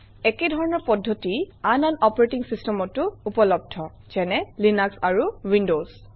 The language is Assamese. একেধৰণৰ পদ্ধতি আন আন অপাৰেটিং চিষ্টেমতো উপলব্ধ যেনে লিনাক্স আৰু উইণ্ডজ